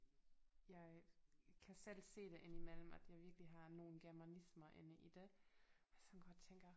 Jeg kan selv se det ind imellem at jeg virkelig har nogle germanismer inde i det og jeg sådan går og tænker